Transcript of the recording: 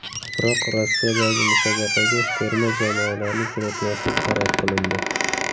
Biroq Rossiyadagi musobaqaga terma jamoalarni jo‘natmaslik qaror qilindi.